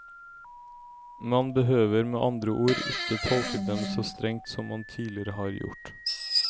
Man behøver med andre ord ikke tolke dem så strengt som man tidligere har gjort.